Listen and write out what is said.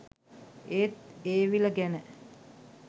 ඒත් ඒ විල ගැන